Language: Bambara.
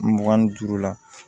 Mugan ni duuru la